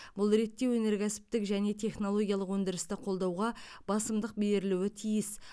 бұл ретте өнеркәсіптік және технологиялық өндірісті қолдауға басымдық берілуі тиіс